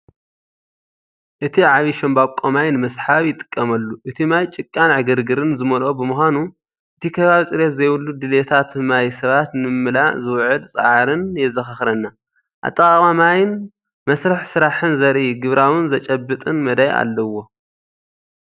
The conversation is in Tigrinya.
እቲ ዓብይ ሻምብቆ ማይ ንምስሓብ ወይ ንምስሓብ ይጥቀመሉ፣ ።እቲ ማይ ጭቃን ዕግርግር ዝመልኦን ብምዃኑ፡ እቲ ከባቢ ጽሬት ዘይብሉ ድሌታት ማይ ሰባት ንምምላእ ዝውዕል ጻዕርን ጻዕርን የዘኻኽረና። ኣጠቓቕማ ማይን መስርሕ ስራሕን ዘርኢ ግብራውን ዝጭበጥን መዳይ ኣለዎ።